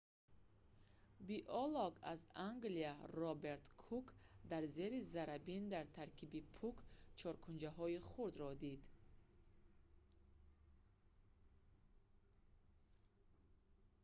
биолог аз англия роберт кук дар зери заррабин дар таркиби пӯк чоркунчаҳои хурдро дид